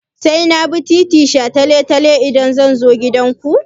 Sai na bi titin shataletale idan zan zo gidanku?